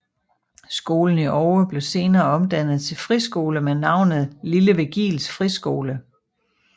Skolen i Oue blev senere omdannet til friskole med navnet Lille Virgils Friskole